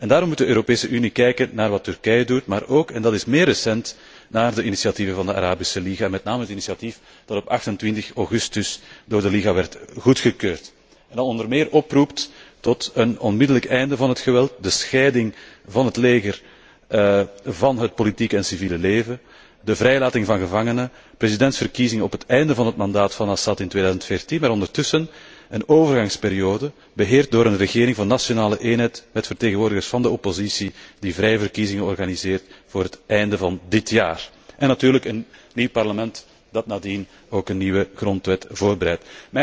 Daarom moet de Europese Unie kijken naar wat Turkije doet maar ook en dat is meer recent naar de initiatieven van de Arabische Liga, en met name het initiatief dat op 28 augustus door de Liga werd goedgekeurd. Dit initiatief roept onder meer op tot een onmiddellijk beëindiging van het geweld, de scheiding van het leger van het politieke en civiele leven, de vrijlating van gevangenen, presidentsverkiezingen op het einde van het mandaat van Assad in 2015, maar ondertussen een overgangsperiode, beheerd door een regering van nationale eenheid met vertegenwoordigers van de oppositie, die vrije verkiezingen organiseert vóór het einde van dit jaar. En natuurlijk een nieuw parlement dat nadien ook een nieuwe grondwet voorbereidt.